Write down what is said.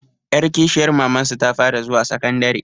Ƴar kishiyar mamansu ta fara zuwa sakandare